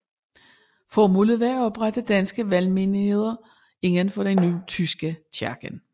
Formålet var at oprette danske valgmenigheder inden for den nu tyske kirke